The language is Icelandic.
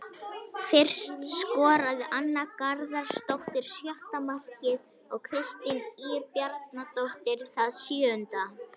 Fyrst skoraði Anna Garðarsdóttir sjötta markið og Kristín Ýr Bjarnadóttir það sjöunda.